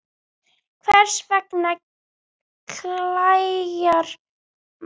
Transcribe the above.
Hvers vegna klæjar mann?